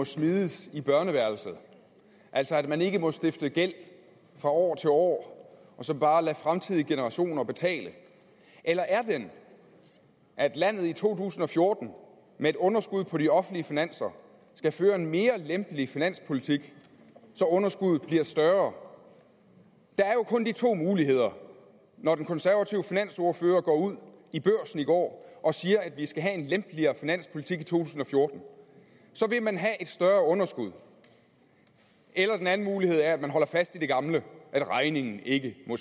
smides i børneværelset altså at man ikke må stifte gæld fra år til år og så bare lade fremtidige generationer betale eller er den at landet i to tusind og fjorten med et underskud på de offentlige finanser skal føre en mere lempelig finanspolitik så underskuddet bliver større der er jo kun de to muligheder når den konservative finansordfører går ud i børsen i går og siger at vi skal have en lempeligere finanspolitik i to tusind og fjorten så vil man have et større underskud eller den anden mulighed er at man holder fast i det gamle at regningen ikke må